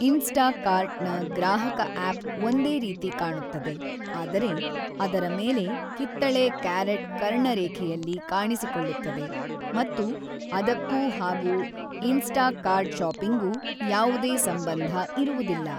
Instakart ನ ಗ್ರಾಹಕ app ಒಂದೇ ರೀತಿ ಕಾಣುತ್ತದೆ ಆದರೆ ಅದರ ಮೇಲೆ ಕಿತ್ತಳೆ ಕ್ಯಾರೇಟ್‌ ಕರ್ಣರೇಖೆಯಲ್ಲಿ ಕಾಣಿಸಿಕೊಳ್ಳುತ್ತದೆ ಮತ್ತು ಅದಕ್ಕೂ ಹಾಗೂ ಇನ್‌ಸ್ಟಾಕಾರ್ಟ್‌ ಶಾಪಿಂಗ್‌ಗೂ ಯಾವುದೇ ಸಂಬಂಧ ಇರುವುದಿಲ್ಲ.